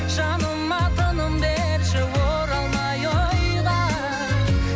жаныма тыным берші оралмай ойға